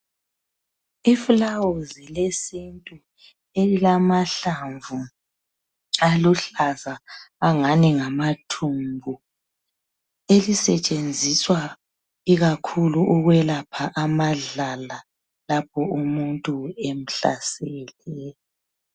I flawuzi lesintu elilamahlamvu aluhlaza angani ngama thumbu elisetshenziswa ikakhulu ukwelapha amadlala lapho umuntu emhlasele